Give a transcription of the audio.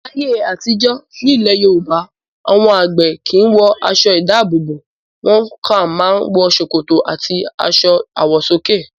Láyé àtijọ́, nílẹ̀ Yorùbá àwọn àgbẹ̀ kì í àwọn aṣọ-ìdáàbòbò. Wọ́n kàn máa ń wọ ṣòkòtò àti aṣọ àwọ̀sókè.